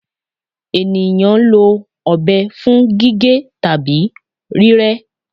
Eniyan lo ọbẹ fun gige tabi rírẹ